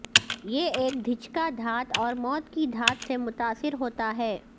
یہ ایک دھچکا دھات اور موت کی دھات سے متاثر ہوتا ہے